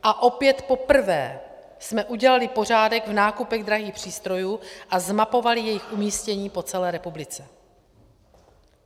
A opět poprvé jsme udělali pořádek v nákupech drahých přístrojů a zmapovali jejich umístění po celé republice.